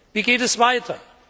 Wie geht es weiter?